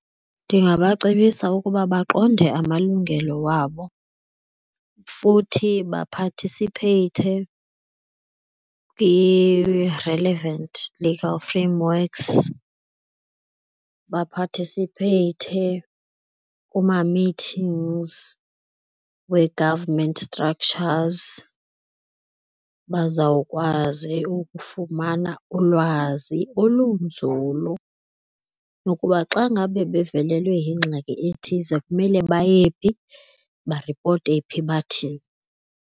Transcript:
Ndingabacebisa ukuba baqonde amalungelo wabo futhi baphathisipheyithe kwi-relevant legal frameworks, baphathisipheyithe kuma-meetings wee-government structures, bazawukwazi ukufumana ulwazi olunzulu lokuba xa ngabe bevelelwe yingxaki ethize kumele baye phi, baripote phi bathini.